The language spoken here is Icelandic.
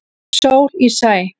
Sól í sæ.